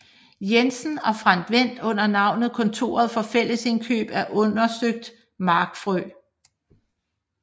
Jensen og Frantz Wendt under navnet Kontoret for Fællesindkøb af undersøgt Markfrø